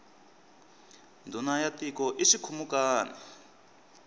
ndhuna ya tiko i xikhumukani